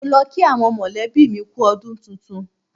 Mo lọ kí àwọn mọ̀lẹ́bí mi kú u ọdún tuntun.